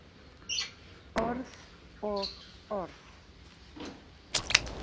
Orð og orð.